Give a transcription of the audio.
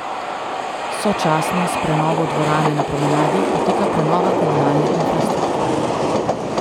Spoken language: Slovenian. Sočasno s prenovo dvorane na promenadi poteka prenova komunalne infrastrukture.